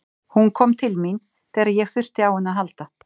Hún kom til mín þegar ég þurfti á henni að halda.